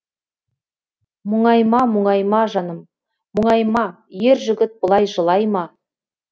мұңайма мұңайма жаным мұңайма ер жігіт бұлай жылай ма